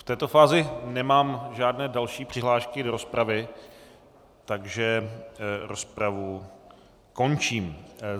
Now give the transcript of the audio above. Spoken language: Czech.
V této fázi nemám žádné další přihlášky do rozpravy, takže rozpravu končím.